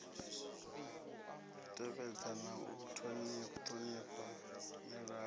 tevhedza na u ṱhonifha milanga